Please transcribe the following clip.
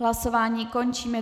Hlasování končím.